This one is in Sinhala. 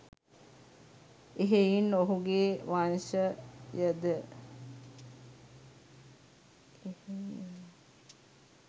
එහෙයින් ඔහු ගේ වංශය ද